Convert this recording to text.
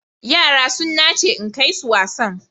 Yara sun nace in kai su wasan.